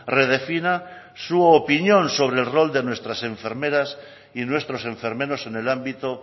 redefina su opinión sobre el rol de nuestras enfermeras y nuestros enfermeros en el ámbito